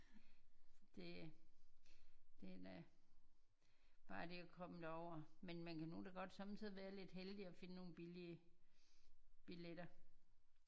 Det den er bare det at komme derover men man kan nu da godt somme tider være lidt heldig og finde nogle billige billetter